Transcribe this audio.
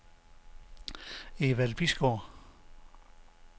Evald Bisgaard